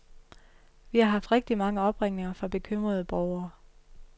Vi har haft rigtigt mange opringninger fra bekymrede borgere.